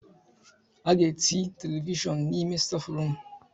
A ga-eti televishọn n'ime stáfụrụm.